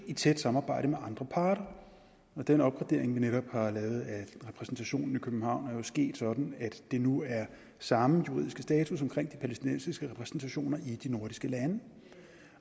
i tæt samarbejde med andre parter den opgradering vi netop har lavet af repræsentationen i københavn er jo sket sådan at der nu er samme juridiske status omkring de palæstinensiske repræsentationer i de nordiske lande